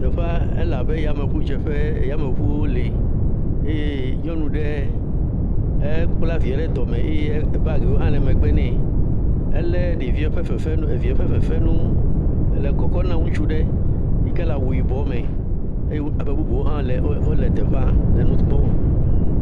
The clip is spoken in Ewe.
Teƒea ele abe yameŋudzeƒe. Yameŋuwo le. Eye nyɔnu ɖee, ekpla viɛ ɖe dɔme eye baagiwo le megbe nɛ. Elé ɖeviɛ ƒe fefenu, eviɛ ƒe fefenu le kɔkɔna ŋutsu ɖe yi ke le awu yibɔ me. eye ame bubuwo hã wole, wole teƒea le nu kpɔm